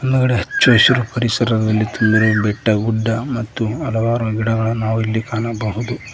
ಹೊರಗಡೆ ಹಚ್ಚಹಸಿರು ಪರಿಸರದಲ್ಲಿ ತೆಗೆದಿರುವ ಬೆಟ್ಟಗುಡ್ಡ ಮತ್ತು ಹಲವಾರು ಗಿಡಗಳನ್ನು ನಾವು ಇಲ್ಲಿ ಕಾಣಬಹುದು.